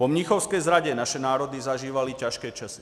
Po mnichovské zradě naše národy zažívaly těžké časy.